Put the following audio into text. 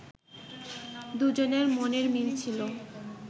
দুজনের মনের মিল ছিল